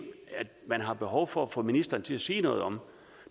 man har behov for at få ministeren til at sige noget om